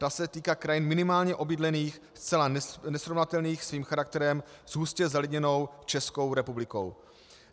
To se týká krajin minimálně obydlených, zcela nesrovnatelných svým charakterem s hustě zalidněnou Českou republikou.